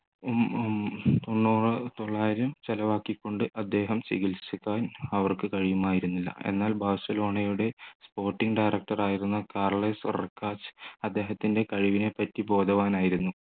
ചെലവാക്കിക്കൊണ്ട് അദ്ദേഹം ചികിത്സിക്കാൻ അവർക്ക് കഴിയുമായിരുന്നില്ല എന്നാൽ ബാഴ്സലോണയുടെ sporting director ആയിരുന്ന കാർലസ് റിക്കാച് അദ്ദേഹത്തിൻ്റെ കഴിവിനെ പറ്റി ബോധവാനായിരുന്നു